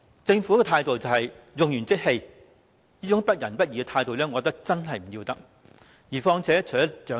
政府的態度可說是用完即棄，這種不仁不義的態度，我認為真的要不得。